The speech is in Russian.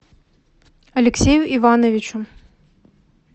алексею ивановичу